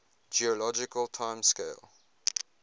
geologic time scale